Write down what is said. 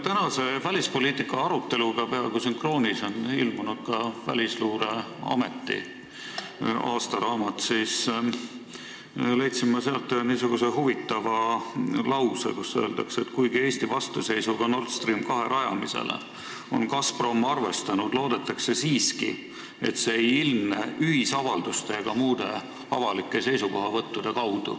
Tänase välispoliitika aruteluga peaaegu sünkroonis on ilmunud ka välisluureameti aastaraamat ja me leidsime sealt ühe huvitava lause: "Kuigi Eesti vastuseisuga NS2 rajamisele on Gazprom arvestanud, loodetakse siiski, et see ei ilmne ühisavalduste ega muude avalike seisukohavõttudena.